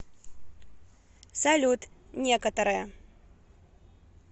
салют некоторое